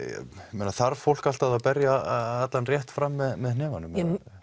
eða þarf fólk alltaf að berja allan rétt fram með hnefanum